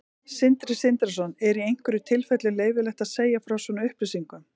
Sindri Sindrason: Er í einhverjum tilfellum leyfilegt að segja frá svona upplýsingum?